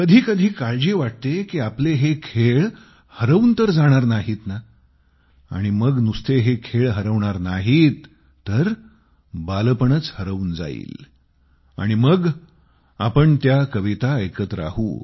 कधी कधी काळजी वाटते की आपले हे खेळ हरवून तर जाणार नाहीत ना आणि मग नुसते हे खेळ हरवणार नाहीत तर बालपणच हरवून जाईल आणि मग आपण त्या कविता ऐकत राहू